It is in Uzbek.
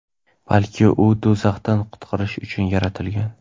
balki uni do‘zaxdan qutqarish uchun yaratilgan.